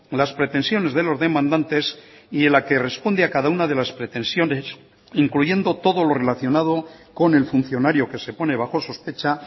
las pretensiones de los demandantes y en la que responde a cada una de las pretensiones incluyendo todo lo relacionado con el funcionario que se pone bajo sospecha